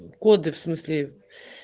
коды в смысле